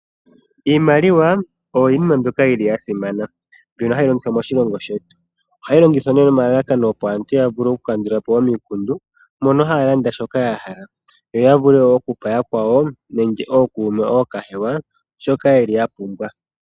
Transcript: Iimaliwa oyo yimwe mbyoka yili ya simana mbyono hayi longithwa moshilongo shetu. Ohayi longithwa nee nomalalakano opo aantu ya vule oku kandulapo omikundu mono haya landa shoka ya hala yo ya vule wo okupa yakwawo nenge ookuume nenge ookahewa shoka ya pumbwa.